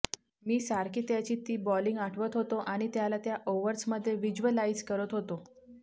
मी सारखी त्याची ती बॉलिंग आठवत होतो आणि त्याला त्या ओव्हर्स मध्ये व्हिज्वलाईज करत होतो